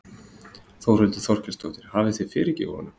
Þórhildur Þorkelsdóttir: Hafið þið fyrirgefið honum?